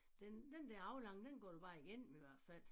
Den den der aflange den går da bare igennem i hvert fald